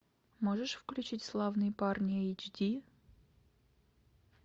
можешь включить славные парни эйч ди